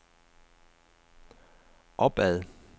opad